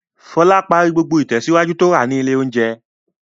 Fọlá parí gbogbo ìtẹ̀síwájú tó rà ní ilé-oúnjẹ.